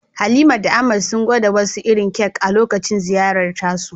Halima da Ahmad sun gwada wasu irin kek a lokacin ziyarar tasu